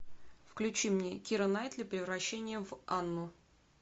включи мне кира найтли превращение в анну